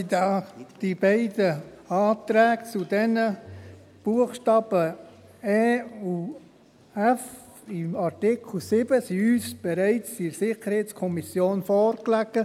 der SiK. Die beiden Anträge zu den Buchstaben e und f des Artikels 7 lagen uns in der SiK bereits vor.